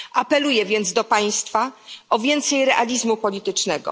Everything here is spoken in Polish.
Apeluję więc do Państwa o więcej realizmu politycznego.